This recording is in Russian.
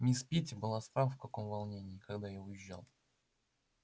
мисс питти была страх в каком волнении когда я уезжал